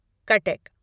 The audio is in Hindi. कटक